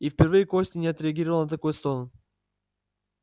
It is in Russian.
и впервые костя не отреагировал на такой стон